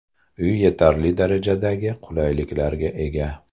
Uy yetarli darajadagi qulayliklarga ega.